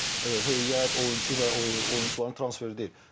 Ancaq heyət, oyunçu və oyunçuların transferi deyil.